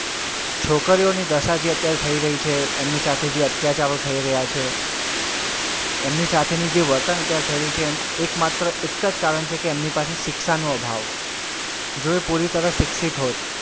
છોકરીઓને દશા જે અત્યારે થઇ રહી છે એમની સાથે જે અત્યાચારો થઇ રહ્યાં છે એમને સાથેની જે વર્તન અત્યારે જે થઇ રહ્યું છે એમ એકમાત્ર એક જ કારણ છે કે એમની પાછળ શિક્ષાનો અભાવ જો એ પૂરી તરહ શિક્ષિત હોત,